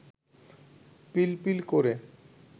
পিলপিল করে